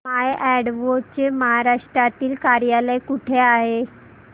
माय अॅडवो चे महाराष्ट्रातील कार्यालय कुठे आहे